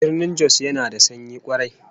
Birnin Jos yana da sanyi kwarai